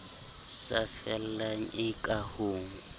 sa fellang e ka ho